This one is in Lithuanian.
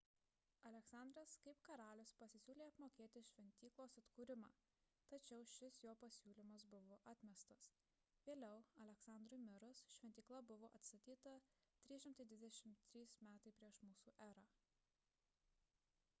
aleksandras kaip karalius pasisiūlė apmokėti šventyklos atkūrimą tačiau šis jo pasiūlymas buvo atmestas vėliau aleksandrui mirus šventykla buvo atstatyta 323 m pr m e